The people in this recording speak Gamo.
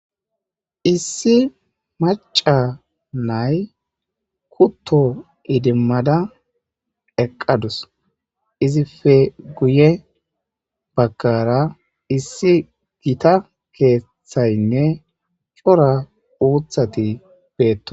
Issi mac'c'a nay kuto idimada eqadus izipe guye bagara issi gita kethaynne c'ora utati betosona.